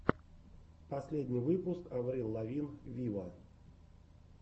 последний выпуск аврил лавин виво